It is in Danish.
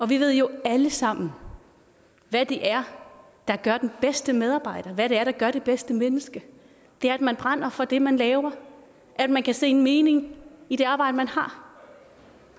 vi ved jo alle sammen hvad det er der gør den bedste medarbejder hvad det er der gør det bedste menneske det er at man brænder for det man laver at man kan se en mening i det arbejde man har